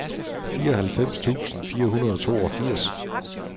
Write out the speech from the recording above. fireoghalvfems tusind fire hundrede og toogfirs